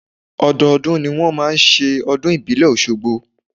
Ọdọọdún ni wọn máa ń ṣe ọdún ìbílẹ̀ ọ̀ṣogbo.